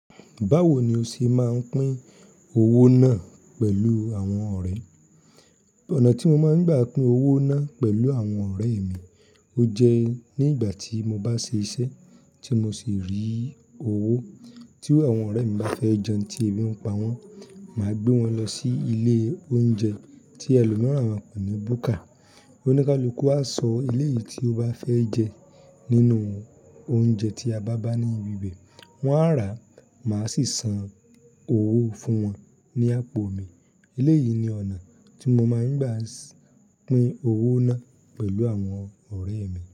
Báwo ni o ṣe máa ń pín owó náà pẹ̀lú àwọn ọ̀rẹ́? Ọ̀nà tí mo máa ń gbà pin owó ná pẹ̀lú àwọn ọ̀rẹ́ mi, ó jẹ́ ni ígbà tí mo bá ṣe iṣẹ́ tí mo sì rí owó, tíru àwọn ọ̀rẹ́ mi bá fẹ́ jẹun tí èmi ń pa wọ́n, màá gbé wọn lọ sí ilé oúnjẹ tí ẹlòmíràn kò ní bù kà. Oníkálukú á sọ eléyìí tí ó bá fẹ́ jẹ nínú oúnjẹ tí a bá bá ní ibi bé, wọ́n á rà, màá sì san owó fún wọn ní àpò mi. Ilé yìí ni ọ̀nà tí mo máa ń gbà pín owó náà pẹ̀lú àwọn ọ̀rẹ́ mi.